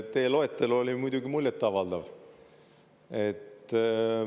Teie loetelu oli muidugi muljetavaldav.